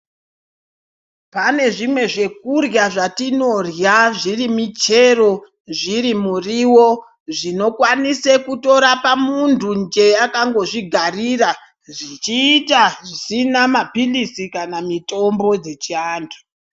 Pane zvimwe zvekurya zvatinorya zviri michero zvirimuriwo zvinokwanise kutorapa muntu nje akangozvigarira zvichiita zvisina mapirizi kana mitombo dzechiantu.